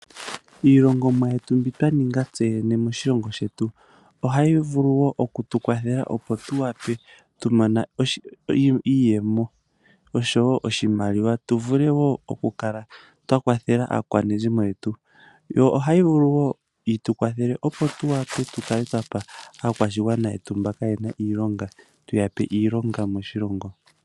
Iilongomwa mbyono twa ninga tseyene moshilongo ohayi vulu wo okukukwathela opo tuwape , tu mone iiyemo oshowoo oshimaliwa, tu vule woo okukala twa kwathela aakwanezimo yetu . Yo ohayi vulu wo yitukwathele opo tu kale twapa aakwashigwana yetu mbono kaayena iilonga , tuyape iilonga moshilongo.